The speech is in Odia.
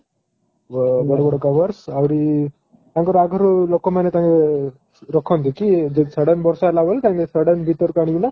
ଯୋ ବଡ ବଡ covers ଆହୁରି ତାଙ୍କର ଆଗରୁ ଲୋକ ମାନେ ତାଙ୍କେ ରଖନ୍ତି କି ଯଦି sudden ବର୍ଷା ହେଲା ବେଲେ ତାଙ୍କେ sudden ଭିତର କୁ ଆଣି କିନା